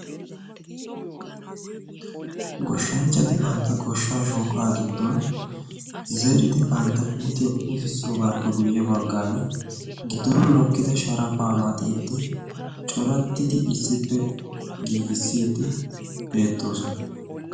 Goshshanchchati bantta goshshaa shooqaa giddon zeridi bantta puutiyaa puutissoogaappe guyye baggan giddonni mokkida sharafaa maxiiddi corattidi issippe giigissiiddi beettoosona.